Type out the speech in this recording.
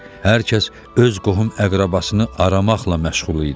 Hər kəs öz qohum-əqrəbasını aramaqla məşğul idi.